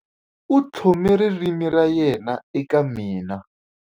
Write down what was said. U tlhome ririmi ra yena eka mina.